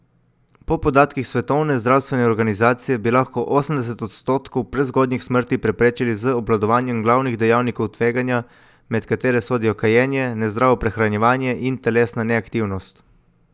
Po podatkih Svetovne zdravstvene organizacije bi lahko osemdeset odstotkov prezgodnjih smrti preprečili z obvladanjem glavnih dejavnikov tveganja, med katere sodijo kajenje, nezdravo prehranjevanje in telesna neaktivnost.